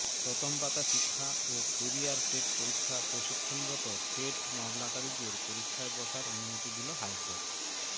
প্রথম পাতা শিক্ষা ও কেরিয়ার টেট পরীক্ষা প্রশিক্ষণরত টেট মামলাকারীদের পরীক্ষায় বসার অনুমতি দিল হাইকোর্ট